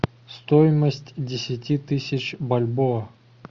стоимость десяти тысяч бальбоа